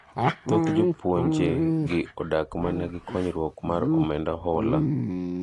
Thoth jopuonje gi odak mana gi konyuok mar omenda hola.